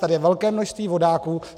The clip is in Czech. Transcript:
Tady je velké množství vodáků.